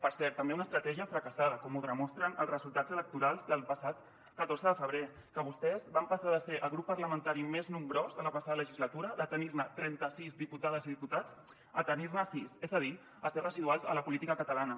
per cert també una estratègia fracassada com ho demostren els resultats electorals del passat catorze de febrer que vostès van passar de ser el grup parlamentari més nombrós en la passada legislatura de tenir trenta·sis diputades i diputats a tenir·ne sis és a dir a ser residuals a la política catalana